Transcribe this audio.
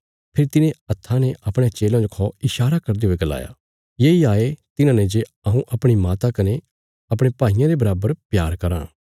फेरी तिने हत्था ने अपणयां चेलयां खौ ईशारा करदे हुये गलाया येई हाये तिन्हांने जे हऊँ अपणी माता कने अपणे भाईयां रे बराबर प्यार कराँ